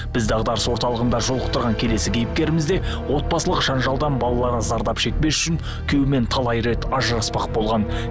біз дағдарыс орталығында жолықтырған келесі кейіпкеріміз де отбасылық жанжалдан балалары зардап шекпес үшін күйеуімен талай рет ажыраспақ болған